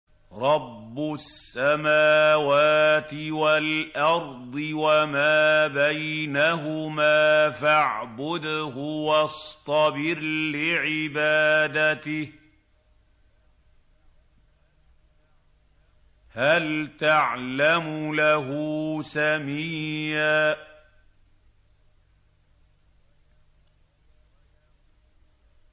رَّبُّ السَّمَاوَاتِ وَالْأَرْضِ وَمَا بَيْنَهُمَا فَاعْبُدْهُ وَاصْطَبِرْ لِعِبَادَتِهِ ۚ هَلْ تَعْلَمُ لَهُ سَمِيًّا